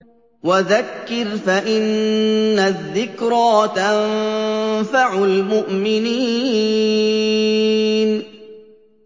وَذَكِّرْ فَإِنَّ الذِّكْرَىٰ تَنفَعُ الْمُؤْمِنِينَ